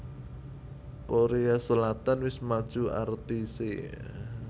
Korea Selatan wis maju artise